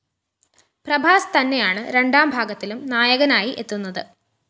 പ്രഭാസ് തന്നെയാണ് രണ്ടാം ഭാഗത്തിലും നായകനായി എത്തുന്നത്